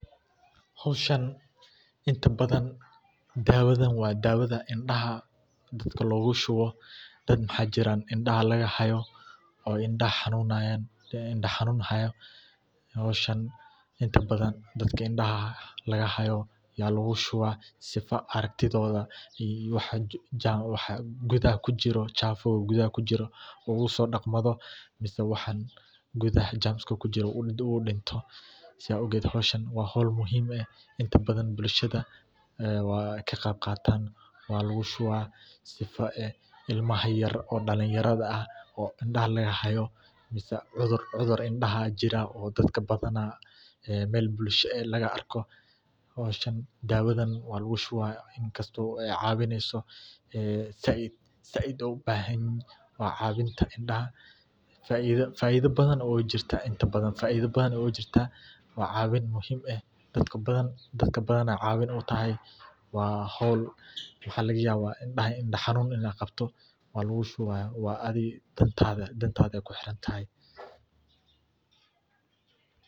Hoshan intabathan dawathan wa dawatha indaha lagushubtoh, dada waxajirah indaha laga hayoh oo indaha xanunayan , hooshan intabathan dadka indaha lagahaya Aya luga shubah sifa aragtithitha iyo waxa kuthaha kujiroh chafuuk kudaha kujiroh lafu so daqooh, mise waxan kuthaha chafuuk kujiroh mido oo dintoh hooshan wa hool muhim intabathan bulshada wa kaqebqatan wallagu shubah imaha yaryar oo dalinyarada oo indaha lagahayoh cudurka indha jirah eevqaban ee meel bulshada hooshan dawatha wa lagu shubah ee cabineysoh saait ugu bahanyahay cabinta indaha faitho bathan jirtah indaha wacabin muhim aah dadaka bathan cawin u tahay wa hool waxalagayabah indaha xanunu Qabtoh Walagu shubah adega danta kuxirantahay.